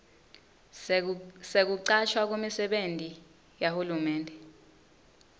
sekucashwa kumisebenti yahulumende